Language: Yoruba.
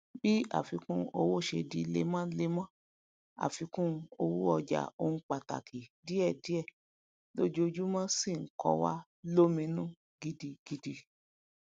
bi afikun owó ṣe di lemolemo afikun owó ọjà ohun pàtàkì diẹdiẹ lójoojúmó sí n ko wa lóminú gidigidi